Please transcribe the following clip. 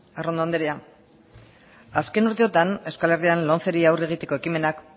arrondo anderea azken urteotan euskal herrian lomceri aurre egiteko ekimenak